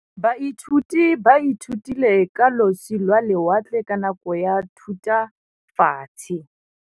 Baithuti ba ithutile ka losi lwa lewatle ka nako ya Thutafatshe.